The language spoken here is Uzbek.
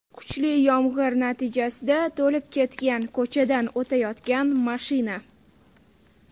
Kuchli yomg‘ir natijasida to‘lib ketgan ko‘chadan o‘tayotgan mashina.